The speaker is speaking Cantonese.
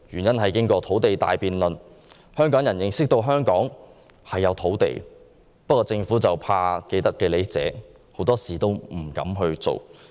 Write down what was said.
經過土地大辯論，香港人認識到香港是有土地的，但政府由於害怕既得利益者，很多時都不敢行動。